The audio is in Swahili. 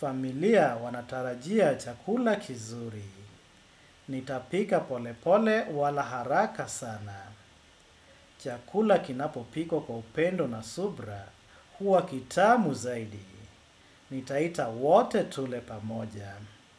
Familia wanatarajia chakula kizuri. Nitapika polepole wala haraka sana. Chakula kinapo pikwa kwa upendo na subira. Huwa kitamu zaidi. Nitaita wote tule pamoja.